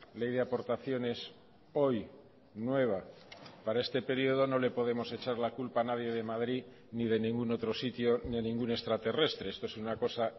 ley de aportaciones hoy nueva para este periodo no le podemos echar la culpa a nadie de madrid ni de ningún otro sitio ni a ningún extraterrestre esto es una cosa